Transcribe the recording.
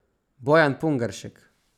Bojan Pungaršek.